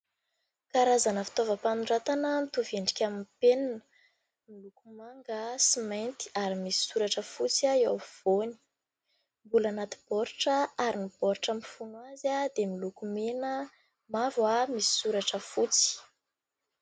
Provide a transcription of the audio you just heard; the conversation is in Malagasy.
Karazana fitaovam-panoratana mitovy endrika amin'ny penina manga sy mainty ary misy soratra fotsy eo afovoany. Mbola anaty baoritra ary ny baoritra mifono azy dia miloko mena, mavo ary misy soratra fotsy.